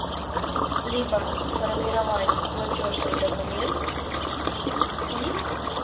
либо сформировать платёжный документ и